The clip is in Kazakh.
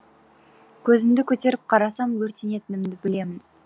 көзімді көтеріп қарасам өртенетінімді білемін